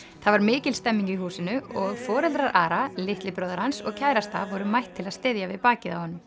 það var mikil stemning í húsinu og foreldrar Ara litli bróðir hans og kærasta voru mætt til að styðja við bakið á honum